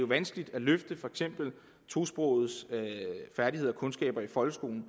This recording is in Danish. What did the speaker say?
vanskeligt at løfte tosprogedes færdigheder og kundskaber i folkeskolen